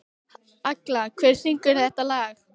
Agla, hver syngur þetta lag?